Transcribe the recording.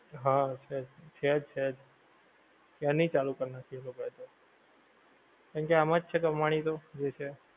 હા છે જ. છેજ છેજ. ક્યારની ચાલુ કરી નાંખી એ લોકો એ તો. કારણ કે આમાં જ છે કમાણી તો જે છે એ.